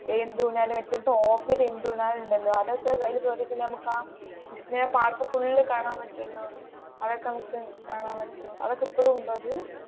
എന്ത് ഊഞ്ഞാൽ മറ്റേ ടോപത്തെ എന്ത് ഊഞ്ഞാൽ ഉണ്ടല്ലോ അതൊക്കെ നമുക്ക് ആ വിസ്മയ പാർക്ക് ഫുൾ കാണാൻ പറ്റുവല്ലോ അതൊക്കെ നമുക്ക് കാണാൻ പറ്റുവോ അതൊക്കെ ഇപ്പോഴും ഉണ്ടോ അത്